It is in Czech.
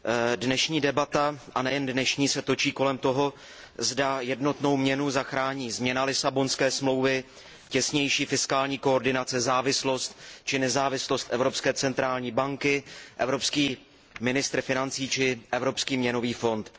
Vážený pane předsedající, dnešní debata a nejen dnešní se točí kolem toho, zda jednotnou měnu zachrání změna Lisabonské smlouvy, těsnější fiskální koordinace, závislost či nezávislost Evropské centrální banky, evropský ministr financí či Evropský měnový fond.